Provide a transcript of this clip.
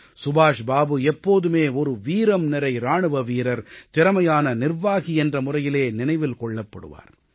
சுபாஷ் பாபு எப்போதுமே ஒரு வீரம்நிறை இராணுவ வீரர் திறமையான நிர்வாகி என்ற முறையிலே நினைவில் கொள்ளப்படுவார்